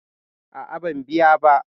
A'a, ban biya ba.